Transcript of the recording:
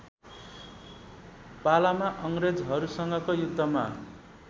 पालामा अङ्ग्रेजहरूसँगको युद्धमा